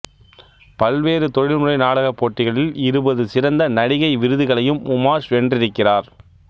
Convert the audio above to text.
பல்வேறு தொழில்முறை நாடக போட்டிகளில் இருபது சிறந்த நடிகை விருதுகளையும் உமாஷ் வென்றிருக்கிறார்